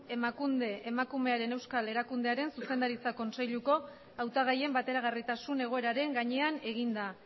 emakunde emakumearen euskal erakundearen zuzendaritza kontseiluko hautagaien bateragarritasun egoeraren gainean eginda